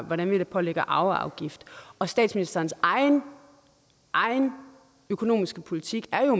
hvordan vi pålægger arveafgift og statsministerens egen egen økonomiske politik er jo